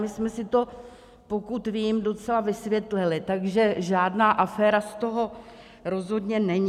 My jsme si to, pokud vím, docela vysvětlili, takže žádná aféra z toho rozhodně není.